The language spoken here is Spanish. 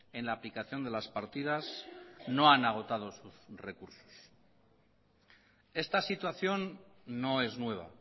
en la aplicación de las partidas no han agotado sus recursos esta situación no es nueva